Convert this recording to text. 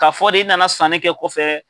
K'a fɔ de i nana sanni kɛ kɔfɛ,